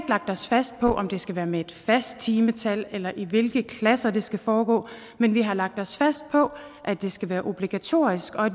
lagt os fast på om det skal være med et fast timetal eller i hvilke klasser det skal foregå men vi har lagt os fast på at det skal være obligatorisk og